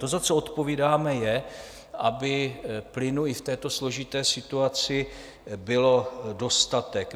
To, za co odpovídáme, je, aby plynu i v této složité situaci bylo dostatek.